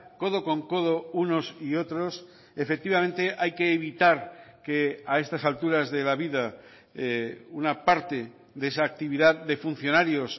codo con codo unos y otros efectivamente hay que evitar que a estas alturas de la vida una parte de esa actividad de funcionarios